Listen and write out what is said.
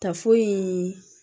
Tafoyi in